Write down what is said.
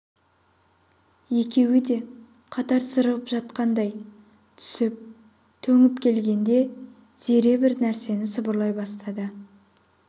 екеуі де қатар сырғып жақындай түсіп төніп келгенде зере бір нәрсені сыбырлай бастады